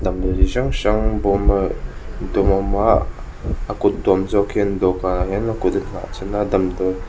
damdawi chi hrang hrang bawm a dum a awm a a kut tuam zawk hian dawhkanah hian a kut a nghah chhan a damdawi--